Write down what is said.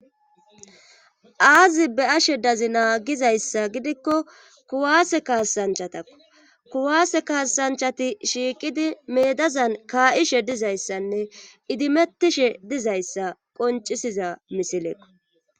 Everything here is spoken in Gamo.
aazi be ashe dazi naagizayssa gidikko kuwaase kaasanchatakko kuwaase kaasanchati shiiqidi meedazan kaa7ishe dizayssanne idimettishe dizayssa qoncisiza misileekko